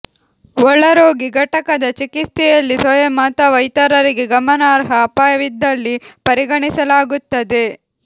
ಒಳರೋಗಿ ಘಟಕದ ಚಿಕಿತ್ಸೆಯಲ್ಲಿ ಸ್ವಯಂ ಅಥವಾ ಇತರರಿಗೆ ಗಮನಾರ್ಹ ಅಪಾಯವಿದ್ದಲ್ಲಿ ಪರಿಗಣಿಸಲಾಗುತ್ತದೆ